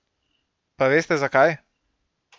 Pa veste zakaj?